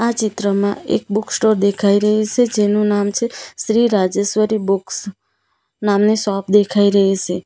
ચિત્રમાં એક book store દેખાય રહી સે જેનું નામ છે શ્રી રાજેશ્વરી બુક્સ નામની શોપ દેખાય રહી સે.